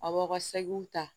A b'aw ka seginw ta